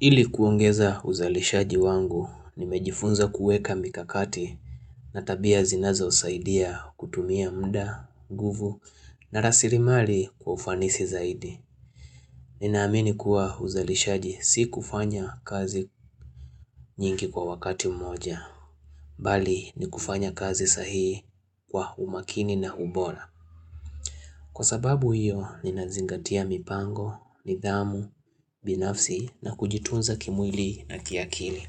Ili kuongeza uzalishaji wangu, nimejifunza kuweka mikakati na tabia zinazo usaidia kutumia mda, guvu na rasirimali kwa ufanisi zaidi. Ninaamini kuwa uzalishaji si kufanya kazi nyingi kwa wakati mmoja, bali ni kufanya kazi sahii kwa umakini na ubola. Kwa sababu hiyo, ninazingatia mipango, nidhamu, binafsi na kujitunza kimwili na kiakili.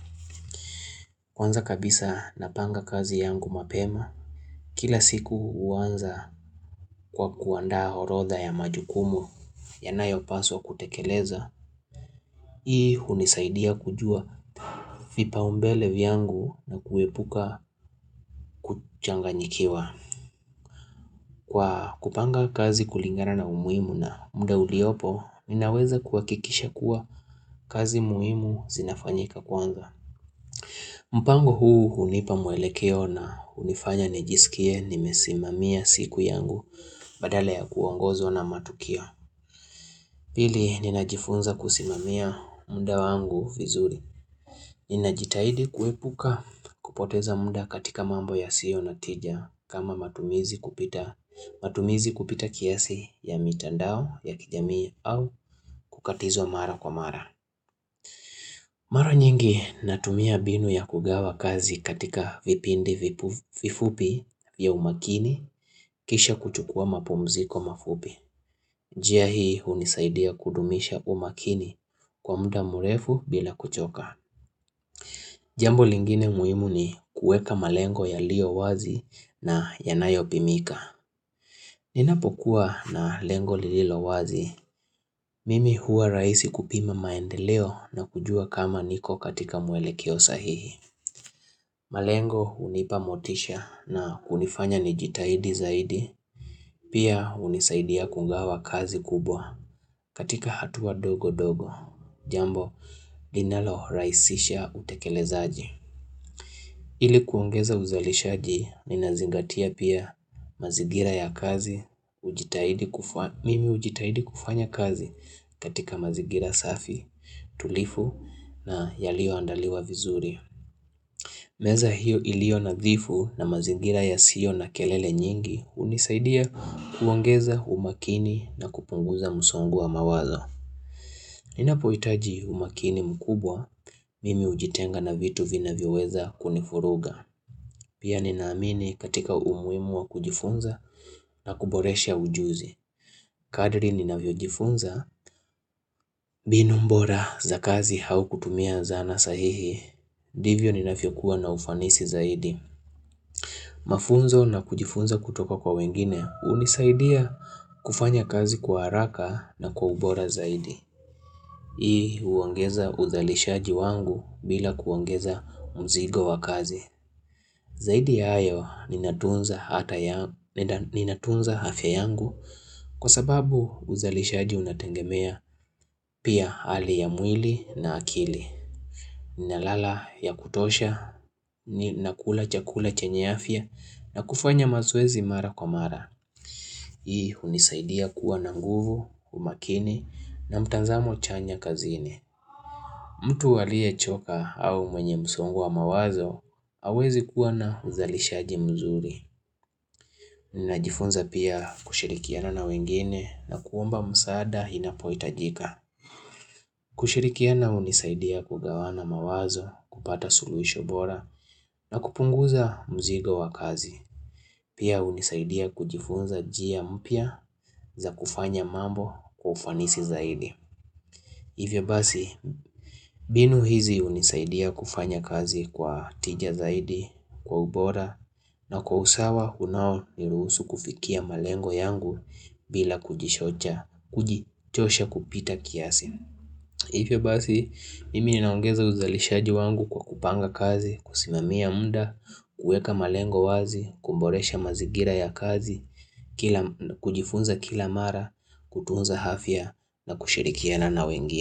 Kwanza kabisa napanga kazi yangu mapema. Kila siku uwanza kwa kuandaa orodha ya majukumu ya nayo paswa kutekeleza. Hii hunisaidia kujua vipa umbele vyangu na kuepuka kuchanga nyikiwa. Kwa kupanga kazi kulingana na umuimu na mda uliopo, ninaweza kuakikisha kuwa kazi muimu zinafanyika kwanza. Mpango huu unipa mwelekeo na unifanya nijisikie nimesimamia siku yangu badala ya kuongozwa na matukio. Pili ninajifunza kusimamia muda wangu vizuri. Ninajitahidi kuepuka kupoteza muda katika mambo ya sio na tija kama matumizi kupita kiasi ya mitandao ya kijamii au kukatizwa mara kwa mara. Mara nyingi natumia binu ya kugawa kazi katika vipindi vifupi ya umakini kisha kuchukua mapumziko mafupi. Jia hii unisaidia kudumisha umakini kwa muda murefu bila kuchoka. Jambo lingine muimu ni kueka malengo ya lio wazi na yanayopimika. Ninapokuwa na lengo lililo wazi, mimi hua raisi kupima maendeleo na kujua kama niko katika mwelekeo sahihi. Malengo unipamotisha na hunifanya nijitahidi zaidi, pia unisaidia kugawa kazi kubwa katika hatua dogo dogo, jambo linalo raisisha utekelezaji. Ili kuongeza uzalishaji, nina zingatia pia mazigira ya kazi, mimi ujitahidi kufanya kazi katika mazigira safi, tulivu na yalio andaliwa vizuri. Meza hiyo ilio nadhifu na mazingira ya sio na kelele nyingi unisaidia kuongeza umakini na kupunguza msongo wa mawazo. Ninapo itaji umakini mkubwa, mimi ujitenga na vitu vina vyo weza kunifuruga. Pia ninaamini katika umuimu wa kujifunza na kuboresha ujuzi. Kadri nina vyo jifunza, binumbora za kazi hau kutumia zana sahihi, divyo nina vyo kuwa na ufanisi zaidi. Mafunzo na kujifunza kutoka kwa wengine unisaidia kufanya kazi kwa haraka na kwa ubora zaidi Hii uongeza uzalishaji wangu bila kuongeza mzigo wa kazi Zaidi ya hayo ninatunza hafya yangu kwa sababu uzalishaji unatengemea pia hali ya mwili na akili ni nalala ya kutosha, ni nakula chakula chanye afya na kufanya mazoezi mara kwa mara. Hii unisaidia kuwa na nguvu, umakini na mtanzamo chanya kazini. Mtu aliye choka au mwenye msongo wa mawazo, awezi kuwa na uzalishaji mzuri. Ninajifunza pia kushirikiana na wengine na kuomba msaada inapoitajika. Kushirikiana unisaidia kugawana mawazo, kupata suluisho bora na kupunguza mzigo wa kazi. Pia unisaidia kujifunza jia mpya za kufanya mambo kwa ufanisi zaidi. Hivyo basi binu hizi unisaidia kufanya kazi kwa tija zaidi, kwa ubora na kwa usawa unao ni ruhusu kufikia malengo yangu bila kujishocha, kujichosha kupita kiasi. Hivyo basi, mimi ninaongeza uzalishaji wangu kwa kupanga kazi, kusimamia muda, kueka malengo wazi, kumboresha mazigira ya kazi, kujifunza kila mara, kutunza hafya na kushirikiana na wengi.